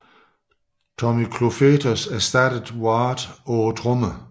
Tommy Clufetos ersattede Ward på trommer